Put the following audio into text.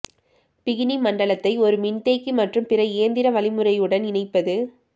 bikini மண்டலத்தை ஒரு மின்தேக்கி மற்றும் பிற இயந்திர வழிமுறையுடன் இணைப்பது